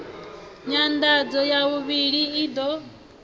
nyanḓadzo ya vhuvhili i ḓo